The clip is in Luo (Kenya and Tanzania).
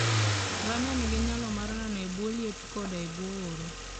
Ngamia nigi nyalo mar nano e bwo liet koda e bwo oro.